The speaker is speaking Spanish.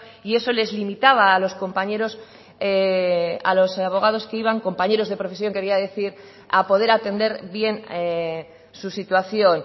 y eso les limitaba a los compañeros a los abogados que iban compañeros de profesión quería decir a poder atender bien su situación